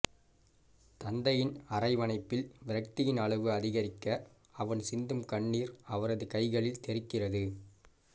தந்தையின் அரவணைப்பில் விரக்தியின் அளவு அதிகரிக்க அவன் சிந்தும் கண்ணீர் அவரது கைகளில் தெறிக்கிறது